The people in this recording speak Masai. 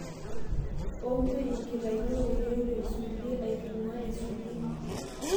ombwe enkitainet oloiterio tesulia aitung'uaa esulia